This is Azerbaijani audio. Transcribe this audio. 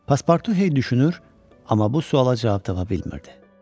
Paspartu heyd düşünür, amma bu suala cavab tapa bilmirdi.